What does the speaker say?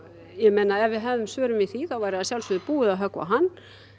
ég meina ef við hefðum svörin við því þá væri að sjálfsögðu búið að höggva á hann